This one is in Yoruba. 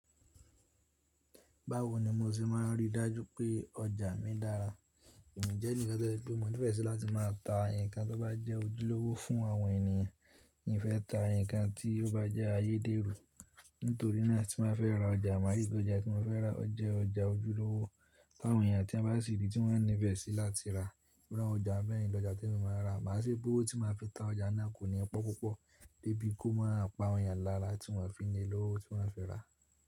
Báwo ni mo ṣe má a rí dájú pé ọjà mi dára? Èmi jẹ́ ẹnìkan tó jẹ́ pé mo nífẹ́ ṣi láti má a ta ǹkan tó bá jẹ́ ojúlówó fún àwọn ènìyàn. In fẹ́ ta ǹkan tí ó bá jẹ́ ayédèrú. Nítorí náà tí mo fẹ́ ra ọjà, màá rí pé ọjà tí mo fẹ́ rà jẹ́ ọjà ojúlówó ti àwọn ènìyàn tí wọ́n bá sìri tí wọ́n ní ìfẹ́ sí láti rà. Irú àwọn ọjà bẹ́yen ni ọjà tí mo máa rà, màá ṣiri owó tí má fi ta ọjà náà kò ní pọ́ púpọ̀ dé bí kò má a pa àwọn ènìyàn lára tí wọ́n fí ni lówó tí wọ́n fi rà.